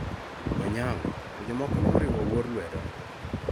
Onyango to jomoko ne oriwo Owuor lwedo.